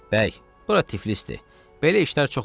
Bəy, bura Tiflisdir, belə işlər çox olar.